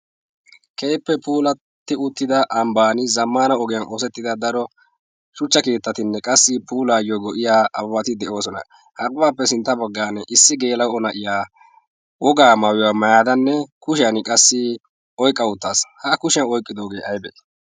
keeppe puulatti uttida ambban zammana ogiyan oosettida daro shuchcha keettatinne qassi puulaayyo go'iya awati de'oosona haribaappe sintta baggan issi geela'o na'iya wogaa maayuywaa mayadanne kushiyan qassi oiqqa uttaas haa kushiyan oyqqidoogee aibee?